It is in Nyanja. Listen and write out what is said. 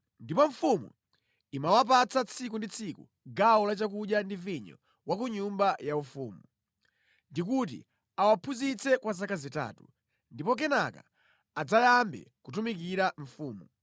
Ndipo mfumu imawapatsa tsiku ndi tsiku gawo la chakudya ndi vinyo wa ku nyumba yaufumu, ndi kuti awaphunzitse kwa zaka zitatu, ndipo kenaka adzayambe kutumikira mfumu.